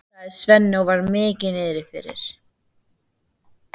sagði Svenni og var mikið niðri fyrir.